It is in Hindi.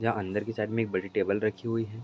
जहां अंदर की साइड में एक बड़ी टेबल रखी हुई है।